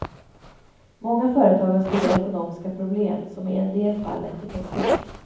Många företag har stora ekonomiska problem som i en del fall lett till konkurs.